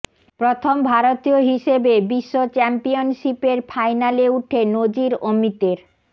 প্রথম ভারতীয় হিসেবে বিশ্ব চ্যাম্পিয়নশিপের ফাইনালে উঠে নজির অমিতের